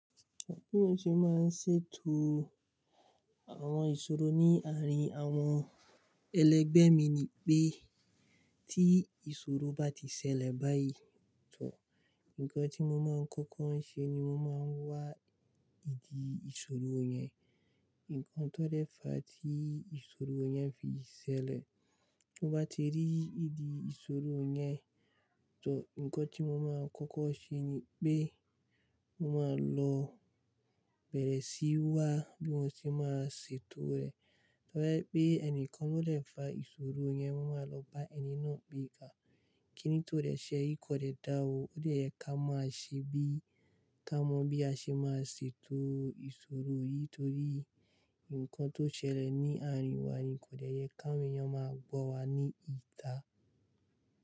Bí mo ṣe máa ń ṣètò àwọn ìṣòro ní àárín àwọn ẹlẹgbẹ́ mi ni pé tí ìṣòro bá ti ṣẹlẹ̀ báyìí tó, nǹkan tí mo máa ń kọ́kọ́ ṣe ni mo máa ń wá ìdí ìṣòro yẹn, nǹkan tó dẹ́fa tí ìṣòro yẹn fi ṣẹlẹ̀. Ti mo bá ti rí ìdí ìṣòro yẹn tó, nǹkan tí mo máa ń kọ́kọ́ ṣe ni pé mo máa lọ bẹ̀rẹ̀ sí wá bí mo ṣe máa ṣètò rẹ̀. Toba jẹ́ pé ẹnìkan ló dẹ́fa ìṣòro yẹn, mo máa lọ bá ẹni náà pé ká. Kíni tó dẹ ṣe yi, kí ó dẹ dá ó, ó dẹ yẹ ká ma a ṣe bí, ká mọ bí a ṣe máa ṣètò ìṣòro yìí torí nǹkan tó ṣẹlẹ̀ ní àárín wa ni kò dẹ yẹ ká awon eyan máa gbọ̀ wá ní ìta.